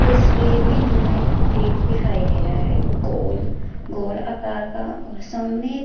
तस्वीर में जो हैं गेट दिखाई दे रहा है गोल गोल आकार का और सामने--